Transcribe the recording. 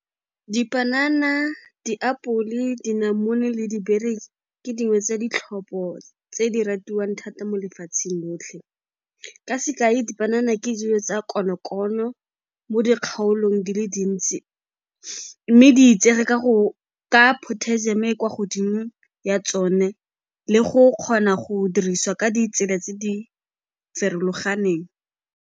Dipanana, diapole, dinamune le ke dingwe tsa ditlhopho tse di ratiwang thata mo lefatsheng lotlhe. Ka sekai, dipanana ke dijo tsa konokono mo dikgaolong di le dintsi mme di itsege ka potassium-o e e kwa godimo ya tsone le go kgona go dirisiwa ka ditsela tse di farologaneng.